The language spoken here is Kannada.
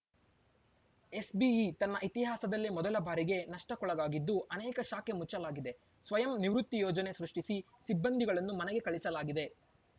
ಎಸ್‌ಬಿಇ ತನ್ನ ಇತಿಹಾಸದಲ್ಲೇ ಮೊದಲ ಬಾರಿಗೆ ನಷ್ಟಕ್ಕೊಳಗಾಗಿದ್ದು ಅನೇಕ ಶಾಖೆ ಮುಚ್ಚಲಾಗಿದೆ ಸ್ವಯಂ ನಿವೃತ್ತಿ ಯೋಜನೆ ಸೃಷ್ಟಿಸಿ ಸಿಬ್ಬಂದಿಗಳನ್ನು ಮನೆಗೆ ಕಳಿಸಲಾಗಿದೆ